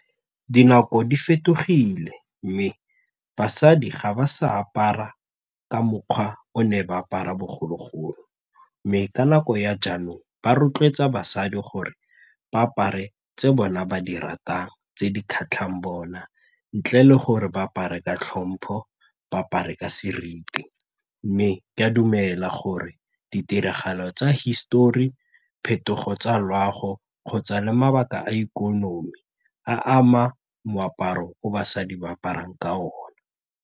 Dinako di fetogile mme basadi ga ba sa apara ka mokgwa o ne ba apara bogologolo mme ka nako ya jaanong ba rotloetsa basadi gore ba apare tse bone ba di ratang tse di kgatlhang bona ntle le gore ba apare ka tlhompho ba apare ka seriti mme ke a dumela gore ditiragalo tsa hisetori, phetogo tsa loago kgotsa le mabaka a ikonomi a ama moaparo o basadi ba aparang ka one.